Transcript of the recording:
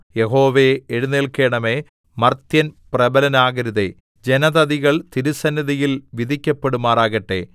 യഹോവേ എഴുന്നേല്ക്കണമേ മർത്യൻ പ്രബലനാകരുതേ ജനതതികൾ തിരുസന്നിധിയിൽ വിധിക്കപ്പെടുമാറാകട്ടെ